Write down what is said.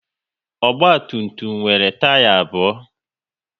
Ogba tum tum nwere taya abụọ